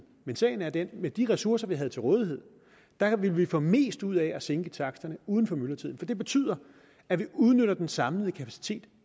men sagen er den at med de ressourcer vi har til rådighed vil vi få mest ud af at sænke taksterne uden for myldretiden for det betyder at vi udnytter den samlede kapacitet